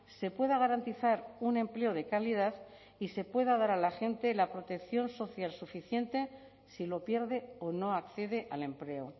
se pueda garantizar un empleo de calidad y se pueda dar a la gente la protección social suficiente si lo pierde o no accede al empleo